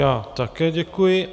Já také děkuji.